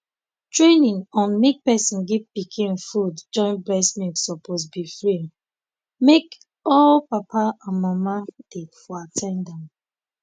training on make person give pikin food join breast milk suppose be free make all papa and mama dey for at ten d am